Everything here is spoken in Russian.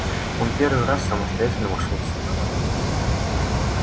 он первый раз самостоятельно вошёл в сумрак